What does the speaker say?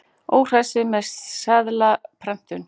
Óhressir með seðlaprentun